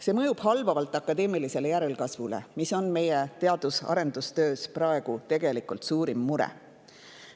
See mõjub halvavalt akadeemilisele järelkasvule ja see on meie teadus-arendustöös praegu tegelikult suurim mure.